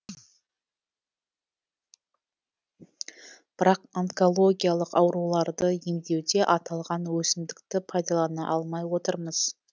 бірақ онкологиялық ауруларды емдеуде аталған өсімдікті пайдалана алмай отырмыз